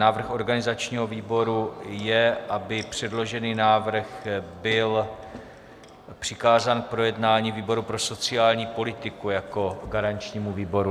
Návrh organizačního výboru je, aby předložený návrh byl přikázán k projednání výboru pro sociální politiku jako garančnímu výboru.